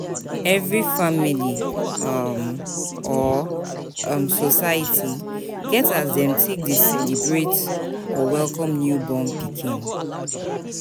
Every family um or um society get as dem take de celebrate or welcome newborn pikin